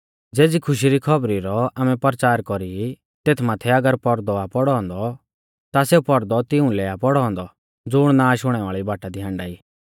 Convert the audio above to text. ज़ेज़ी खुशी री खौबरी रौ आमै परचार कौरी तेथ माथै अगर पौरदौ आ पौड़ौ औन्दौ ता सेऊ पौरदौ तिऊं लै आ पौड़ौ औन्दौ ज़ुण नाश हुणै वाल़ी बाटा दी हाण्डा ई